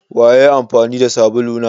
Waye ya yi amfani da sabulu na?